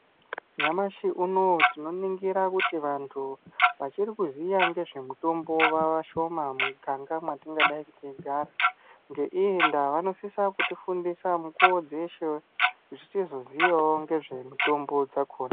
Nyamashi unouyu tinoningira kuti vantu vachirikuziya ngezvemutombo vavashoma mumuganga mwetingadayi teigara ngeiyi ndaa vanosise kutifundisa mukuwo dzeshe kuti tizoziyawo ngemitombo dzakona.